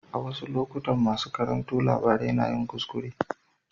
A wasu lokutan masu karanto labarai na yin kuskure.